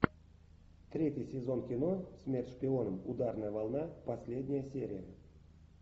третий сезон кино смерть шпионам ударная волна последняя серия